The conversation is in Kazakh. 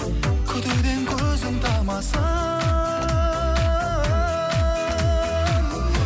күтуден көзің талмасын